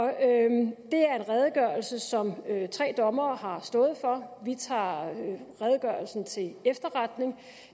er en redegørelse som tre dommere har stået for vi tager redegørelsen til efterretning